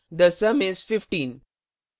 the sum is 15